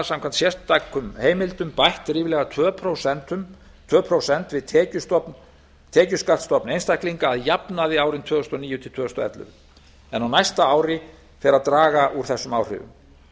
samkvæmt sérstökum heimildum bætt ríflega tvö prósent við tekjuskattstofn einstaklinga að jafnaði árin tvö þúsund og níu til tvö þúsund og ellefu en á næsta ári fer að draga úr þessum áhrifum